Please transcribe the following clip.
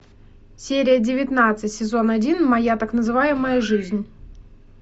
серия девятнадцать сезон один моя так называемая жизнь